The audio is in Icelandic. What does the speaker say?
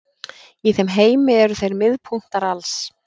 Í þeim heimi eru þeir miðpunktar alls.